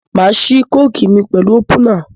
Màá ṣí kókì mi pẹ̀lú ópúnà.